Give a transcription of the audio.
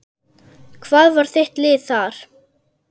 Hvað var þitt lið þar?